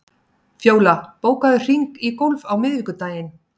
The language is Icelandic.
Fjóla, bókaðu hring í golf á miðvikudaginn.